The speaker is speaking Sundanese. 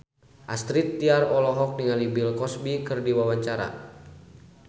Astrid Tiar olohok ningali Bill Cosby keur diwawancara